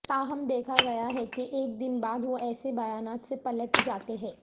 تاہم دیکھا گیا ہے کہ ایک دن بعد وہ ایسے بیانات سے پلٹ جاتے ہیں